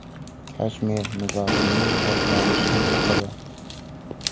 Kashmir nizosining boshlanishi haqida.